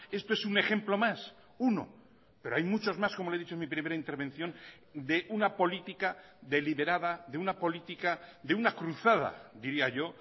esto es un ejemplo más uno pero hay muchos más como le he dicho en mi primera intervención de una política deliberada de una política de una cruzada diría yo